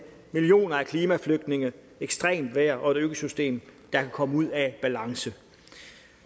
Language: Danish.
millioner af klimaflygtninge ekstremt vejr og et økosystem der kan komme ud af balance